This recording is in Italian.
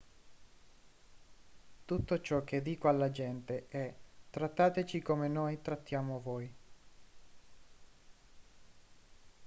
tutto ciò che dico alla gente è trattateci come noi trattiamo voi